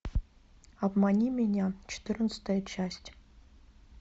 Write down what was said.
обмани меня четырнадцатая часть